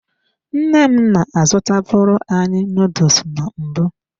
Nne m na-azụtabụrụ anyị nuduls na mbụ.